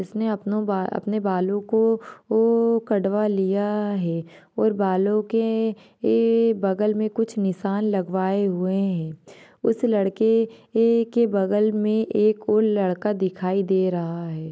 उसने आपने बालों को ओ कड़वा लिया है और बालो के ये बगल मे कुछ निशान लगवाए हुए है उस लड़के ये के बगल मे एक और लड़का दिखाई दे रहा है।